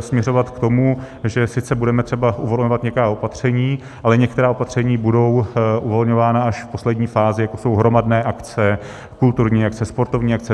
směřovat k tomu, že sice budeme třeba uvolňovat nějaká opatření, ale některá opatření budou uvolňována až v poslední fázi, jako jsou hromadné akce, kulturní akce, sportovní akce.